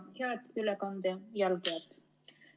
Head ülekande jälgijad!